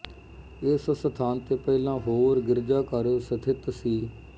ਇਸ ਸਥਾਨ ਤੇ ਪਹਿਲਾਂ ਹੋਰ ਗਿਰਜਾਘਰ ਸਥਿਤ ਸੀ